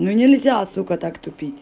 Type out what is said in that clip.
ну нельзя асука так